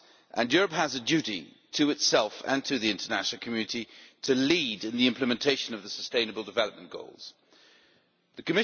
and Europe has a duty to itself, and to the international community to lead in the implementation of the Sustainable Development Goals The